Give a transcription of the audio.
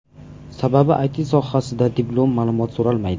Sababi IT sohasida diplom, ma’lumot so‘ralmaydi.